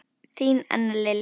Þín Anna Lilja.